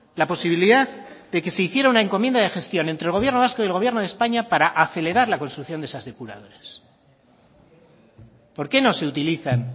la posibilidad de que se hiciera una encomienda de gestión entre el gobierno vasco y el gobierno de españa para acelerar las construcciones de esas depuradoras por qué no se utilizan